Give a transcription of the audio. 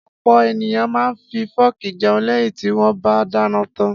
Ọ̀pọ̀ ènìyàn máa ń fi fọ́ọ́kì jẹun lẹ́yìn tí wọ́n bá dáná tán.